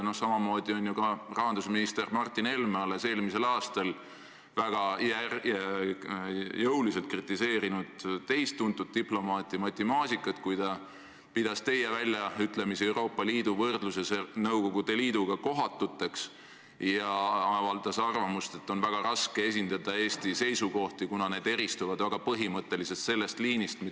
Noh, samamoodi on ju ka rahandusminister Martin Helme alles eelmisel aastal väga jõuliselt kritiseerinud teist tuntud diplomaati Matti Maasikat, kui ta pidas teie väljaütlemisi, mis puudutasid Euroopa Liidu võrdlemist Nõukogude Liiduga, kohatuteks ja avaldas arvamust, et on väga raske esindada Eesti seisukohti, kuna need eristuvad väga põhimõtteliselt sellest liinist, mis ...